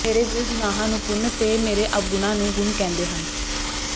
ਮੇਰੇ ਗ਼ੁਨਾਹਾਂ ਨੂੰ ਪੁੰਨ ਤੇ ਮੇਰੇ ਅਵਗੁਣਾਂ ਨੂੰ ਗੁਣ ਕਹਿੰਦੇ ਹਨ